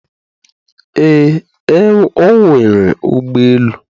Ee, o nwere ụgbọ elu